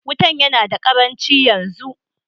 Wutan yana da ƙaranchi yanzu.